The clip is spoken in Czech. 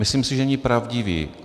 Myslím si, že není pravdivý.